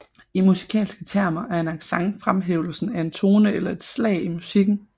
I musikalske termer er en accent fremhævelsen af en tone eller et slag i musikken